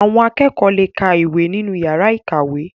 Àwọn akẹ́kọ̀ọ́ le ka ìwé nínú yàrá ìkàwé.